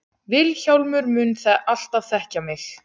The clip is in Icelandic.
Vilhjálmur mun alltaf þekkja mig.